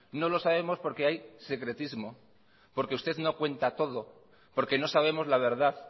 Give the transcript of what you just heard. no lo sabemos porque hay secretismo porque usted no cuenta todo porque no sabemos la verdad